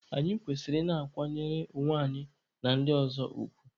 Anyị kwesịrị ị na-akwanyere onwe anyị na ndị ọzọ ugwu.